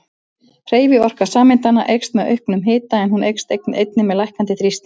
Hreyfiorka sameindanna eykst með auknum hita en hún eykst einnig með lækkandi þrýstingi.